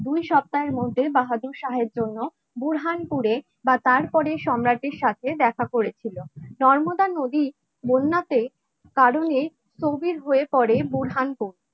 দুই সপ্তাহের মধ্যে বাহাদুর শাহের জন্য বুরহানপুরে বা তার পরে সম্রাটের সাথে দেখা করেছিল নর্মদা নদীর বন্যাতে কারণে স্থবির হয়ে পড়ে বোরহান কবি